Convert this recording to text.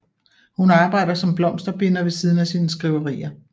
Hun arbejder som blomsterbinder ved siden af sine skriverier